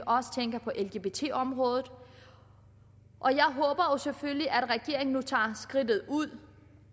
også tænker på lgbt området og jeg håber selvfølgelig at regeringen nu tager skridtet fuldt ud